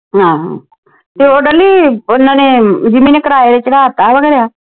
ਹਾਂ ਤੇ ਉਹ ਡੋਲੀ ਓਹਨਾ ਨੇ ਜਿੰਮੀ ਨੇ ਕਿਰਾਏ ਤੇ ਚੜ੍ਹਾਤਾ ਵਾ ਖੁਰਿਆ।